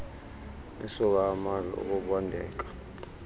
isuka amadlu ukubondeka